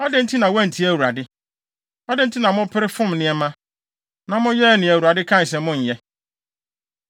Adɛn nti na woantie Awurade? Adɛn nti na mopere fom nneɛma, na moyɛɛ nea Awurade kaa se monnyɛ?”